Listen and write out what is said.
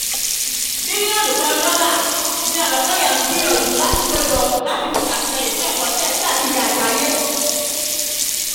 mílíọ̀nù kan dọ́là ni ọ̀nàkọ́yà ń gbìyànjú láti kó jọ láti fi ṣàtìlẹ́yìn fún ẹ̀kọ́ chess káàkiri àgbáyé